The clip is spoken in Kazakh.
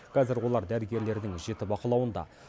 қазір олар дәрігерлердің жіті бақылауында